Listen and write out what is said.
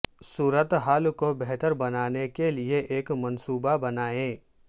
صورت حال کو بہتر بنانے کے لئے ایک منصوبہ بنائیں